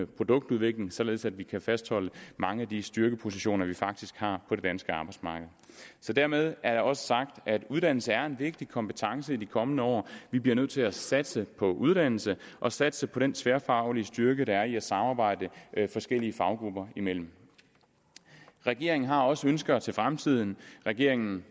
produktudvikling således at vi kan fastholde mange af de styrkepositioner vi faktisk har på det danske arbejdsmarked dermed er det også sagt at uddannelse er en vigtig kompetence i de kommende år vi bliver nødt til at satse på uddannelse og satse på den tværfaglige styrke der er i at samarbejde forskellige faggrupper imellem regeringen har også ønsker til fremtiden regeringen